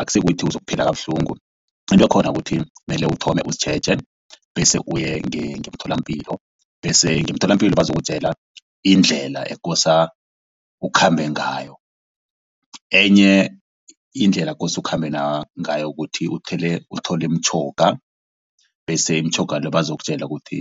asikuthi uzokuphila kabuhlungu into khona ukuthi mele uthome uzitjheje bese uye ngemtholampilo bese ngemtholampilo bazokutjela indlela ekose ukhambe ngayo. Enye indlela kose ukhambe nangayo kuthi uthole imitjhoga bese imitjhoga le bazokutjela ukuthi